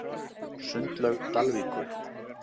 Sundlaug Dalvíkur